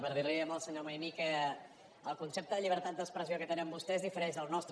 per dir li al senyor maimí que el concepte de llibertat d’expressió que tenen vostès difereix del nostre